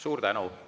Suur tänu!